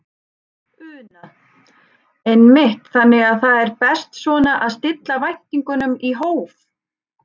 Una: Einmitt, þannig að það er best svona að stilla væntingunum í hóf?